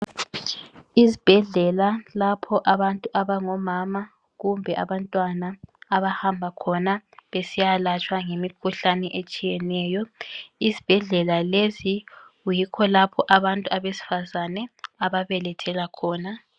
Izibhedlela lapho abantu abangomama kumbe abantwana abahamba khona besiyalatshwa ngemikhuhlane etshiyeneyo. Isibhedlela lesi yikho lapho abantu abesifazane ababelethela khona.